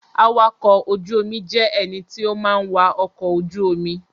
Awakọ̀ ojú omi jẹ́ ẹní tó má ń wa ọkọ̀ ojú omi